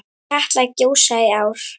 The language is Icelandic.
Mun Katla gjósa í ár?